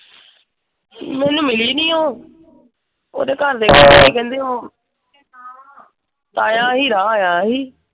ਮੈਨੂੰ ਮਿਲੀ ਨਹੀਂ ਉਹ। ਉਹਦੇ ਘਰਦੇ ਕਹਿੰਦੇ ਕਹਿੰਦੇ ਸੀ ਉਹ ਤਾਇਆ ਹੀਰਾ ਆਇਆ ਸੀ।